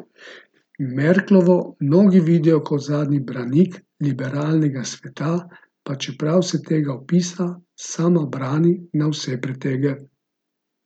Merklovo mnogi vidijo kot zadnji branik liberalnega sveta, pa čeprav se tega opisa sama brani na vse pretege.